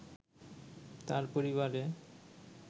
তার পরিবারে